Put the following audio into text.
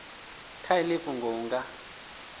kha iḽi fhungo hu nga